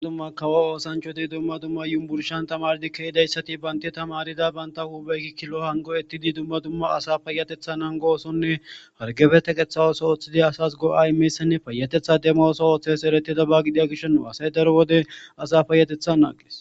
dumma kawo oosancho dumma dumma yumburshan tamardi kehidayssati baynta tamarida banta huubeyki kilo hango ettidi dumma dumma asa payatethan hangoosonne hargebeteqeththa ooso ooththidi asas go7a imeysanne payatetha dema oso ooththes eretida ba gidia gishooo asay daro wode asa payatetha naagees